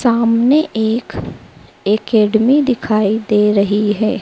सामने एक एकेडमी दिखाई दे रही हैं।